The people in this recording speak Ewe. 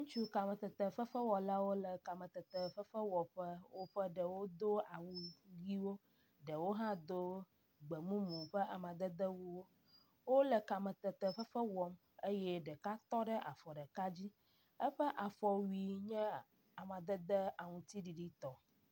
Ŋutsu kametefefewɔlawo le kametefefewɔƒe. Woƒe ɖewo do awu ʋiwo, ɖewo hã do gbemumu ƒe amadedewuwo. Wole kametetefefe wɔm eye ɖeka tɔ ɖe afɔ ɖeka dzi. Eƒe afɔwui nye amadede aŋtsiɖiɖitɔ